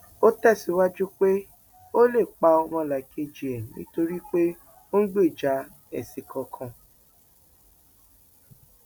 ó tẹsíwájú pé o ò lè pa ọmọlàkejì ẹ nítorí pé ò ń gbèjà ẹsìn kankan